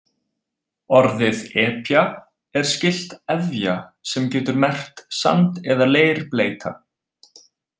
Orðið epja er skylt efja sem getur merkt sand- eða leirbleyta.